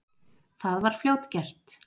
Það var fljótgert.